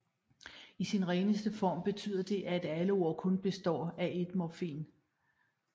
I sin reneste form betyder det at alle ord kun består af ét morfem